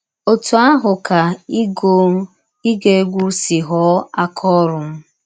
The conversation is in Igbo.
Ọtụ ahụ ka ịgụ ịgụ egwụ si ghọọ aka ọrụ m.